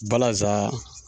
Balaza